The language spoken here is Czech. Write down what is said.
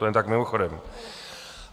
To jen tak mimochodem.